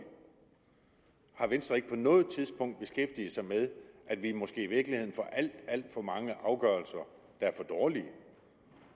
har venstre ikke på noget tidspunkt beskæftiget sig med at vi måske i virkeligheden får alt alt for mange afgørelser der er for dårlige